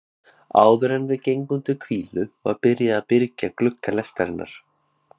Áðuren við gengum til hvílu var byrjað að byrgja glugga lestarinnar.